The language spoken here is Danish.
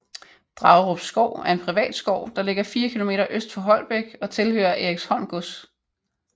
Dragerup Skov er en privat skov der ligger 4 km øst for Holbæk og tilhører Eriksholm Gods